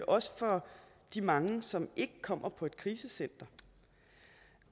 også for de mange som ikke kommer på et krisecenter